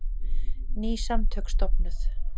Ný samtök stofnuð